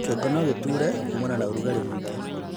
kĩongo nogĩgũtuure kuumana na ũrugarĩ mũingĩ